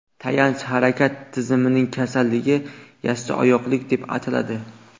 Tayanch harakat tizimining kasalligi – yassioyoqlik deb ataladi.